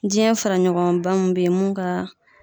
Jiyɛn fara ɲɔgɔnba mun bɛ ye mun ka